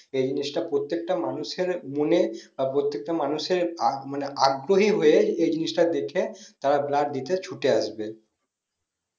এই জিনিসটা প্রত্যেকটা মানুষ এর মনে পরবর্তীতে মানুষের মানে আগ মানে আগ্রহী হয়ে এই জিনিসটা দেখে সবাই blood দিতে ছুটে আসবে